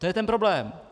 To je ten problém.